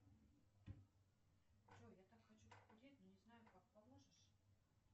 джой я так хочу похудеть но не знаю как поможешь